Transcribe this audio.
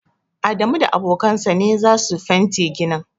Adamu da abokan sa ne za su fente ginin.